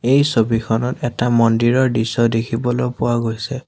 এই ছবিখনত এটা মন্দিৰৰ দৃশ্য দেখিবলৈ পোৱা গৈছে।